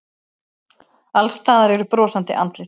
Alls staðar eru brosandi andlit.